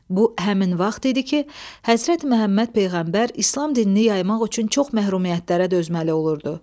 Bu həmin vaxt idi ki, Həzrəti Məhəmməd Peyğəmbər İslam dinini yaymaq üçün çox məhrumiyyətlərə dözməli olurdu.